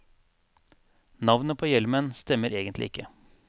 Navnet på hjelmen stemmer egentlig ikke.